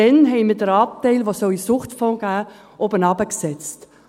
Damals setzten wir den Anteil, der hätte in den Suchtfonds gehen sollen, herunter.